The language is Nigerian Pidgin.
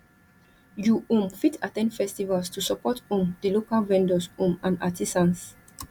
you um fit at ten d festivals to support um di local vendors um and artisans